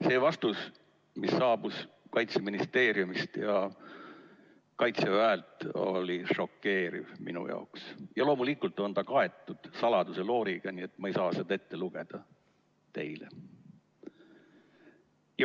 See vastus, mis saabus Kaitseministeeriumilt ja Kaitseväelt, oli minu jaoks šokeeriv ja loomulikult on see kaetud saladuselooriga, nii et ma ei saa seda teile ette lugeda.